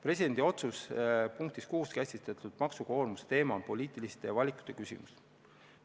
Presidendi otsuse punktis 6 käsitletud maksukoormuse teema on poliitiliste valikute küsimus.